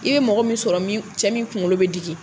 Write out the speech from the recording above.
I bɛ mɔgɔ min sɔrɔ min, cɛ min kunkolo bɛ digi.